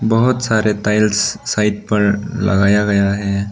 बहोत सारे tiles side पर लगाया गया है।